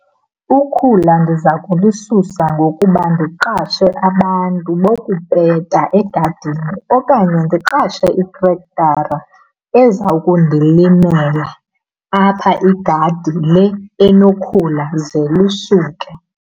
Ukhula ndiza kulisusa ngokuba ndiqashe abantu bokupeta egadini okanye ndiqashe itrektara eza kundilimela apha igadi le enokhula ze lisuke.